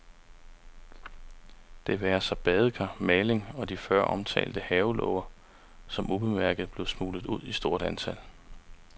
Det være sig badekar, maling og de før omtalte havelåger, som ubemærket blev smuglet ud i stort antal.